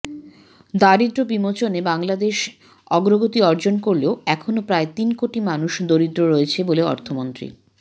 দারিদ্র্য বিমোচনে বাংলাদেশ অগ্রগতি অর্জন করলেও এখনও প্রায় তিন কোটি মানুষ দরিদ্র রয়েছে বলে অর্থমন্ত্রী